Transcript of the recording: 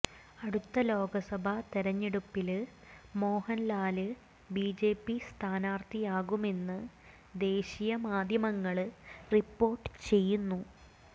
അടുത്ത ലോക്സഭ തെരഞ്ഞെടുപ്പില് മോഹന്ലാല് ബിജെപി സ്ഥാനാര്ഥിയാകുമെന്ന് ദേശീയ മാധ്യമങ്ങള് റിപ്പോര്ട്ട് ചെയ്യുന്നു